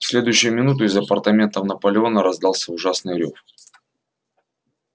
в следующую минуту из апартаментов наполеона раздался ужасный рёв